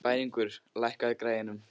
Bæringur, lækkaðu í græjunum.